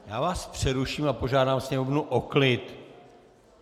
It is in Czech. Já vás přeruším a požádám sněmovnu o klid.